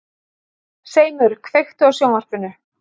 Seimur, kveiktu á sjónvarpinu.